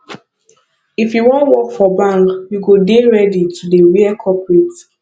if you wan work for bank you go dey ready to dey wear corporate